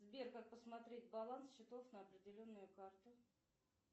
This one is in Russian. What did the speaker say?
сбер как посмотреть баланс счетов на определенную карту